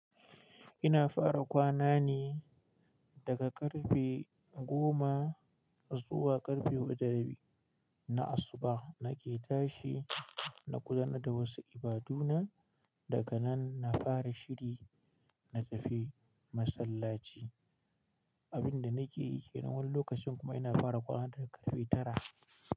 Ina fara kwana ne daga karfe goma zuwa karfe huɗu da rabi na asuba nake tashi na kula da wasu ibaduna daga nan na fara shiri na tafi masallaci. Abin da nake yi ke nan wani lokacin kuma ina fara kwana daga karfe tara.